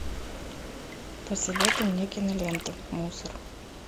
посоветуй мне киноленту мусор